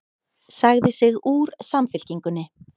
Sagði sig úr Samfylkingunni